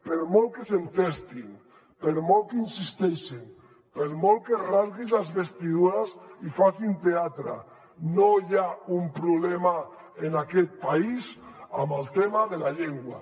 per molt que s’hi entestin per molt que hi insisteixin per molt que s’esquincin les vestidures i facin teatre no hi ha un problema en aquest país amb el tema de la llengua